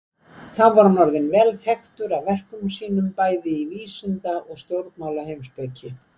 Þá var hann orðinn vel þekktur af verkum sínum, bæði í vísinda- og stjórnmálaheimspeki.